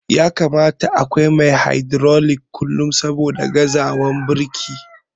Ya kamata akwai mai na hydrolic kullum saboda gazawan birki.